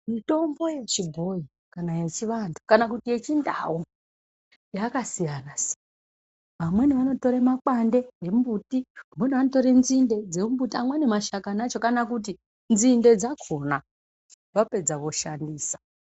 Mutombo wechibhoyi kana yechiantu kana kuti yechindau yakasiyana siyana amweni anotore makwande emumbuti amweni anotore nzinde dzemumbuti amweni mashakani Acho kana kuti nzinde dzakhona vapedza voshandisa.